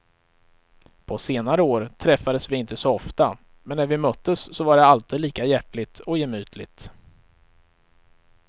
På senare år träffades vi inte så ofta, men när vi möttes så var det alltid lika hjärtligt och gemytligt.